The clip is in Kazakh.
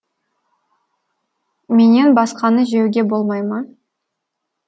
менен басқаны жеуге болмай ма